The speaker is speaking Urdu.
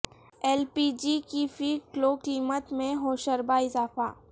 ایل پی جی کی فی کلو قیمت میں ہوشربا اضافہ